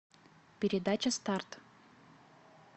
передача старт